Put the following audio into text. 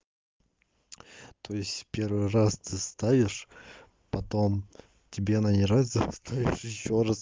то есть первый раз ты ставишь потом тебе она не нравится ты ставишь ещё раз